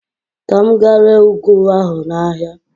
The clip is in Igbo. Ka m gaa ree ụgụ ahụ n'ahịa.